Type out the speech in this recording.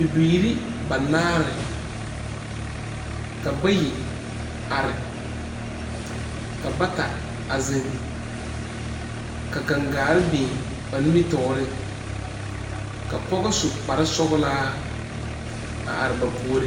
Bibiiri banaare, ka bayi are, ka bata a zeŋ ka gangaare biŋ ba nimitɔɔre ka pɔge su kpare sɔglaa a are ba puori.